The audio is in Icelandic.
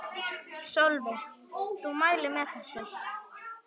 Sólveig: Þú mælir með þessu?